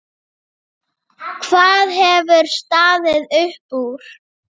Hvað hefur staðið upp úr?